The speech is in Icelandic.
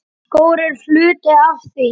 Skór eru hluti af því.